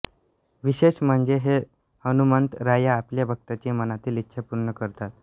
विशेष म्हणजे हे हनुमंत राया आपल्या भक्ताची मनातील इच्छा पूर्ण करतात